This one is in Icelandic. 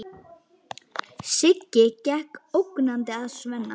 Siggi gekk ógnandi að Svenna.